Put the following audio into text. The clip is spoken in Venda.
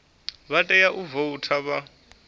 vha tea u voutha vha